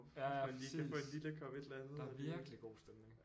Ja præcis der er virkelig god stemning